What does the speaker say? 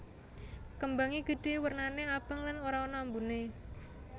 Kembangé gedhé wernané abang lan ora ana ambuné